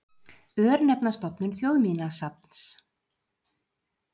Örnefnastofnun Þjóðminjasafns.